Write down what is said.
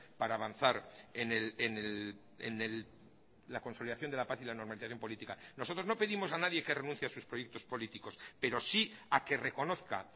para avanzar en la consolidación de la paz y la normalización política nosotros no pedimos a nadie que renuncie a sus proyectos políticos pero sí a que reconozca